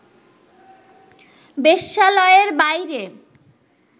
বেশ্যালয়ের বাইরে